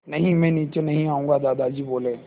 नहीं मैं नीचे नहीं आऊँगा दादाजी बोले